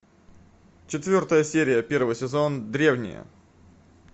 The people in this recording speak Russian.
четвертая серия первый сезон древние